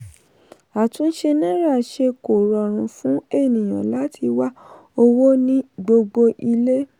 àtúnṣe náírà ṣe kó rọrùn fún ènìyàn láti wá owó ní gbogbo ilé.